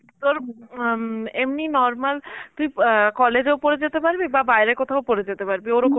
তোর অ্যাঁ এমনি normal তুই অ্যাঁ college ও পরে যেতে পারবি বা বাইরে কোথাও পরে যেতে পারবি ওরকম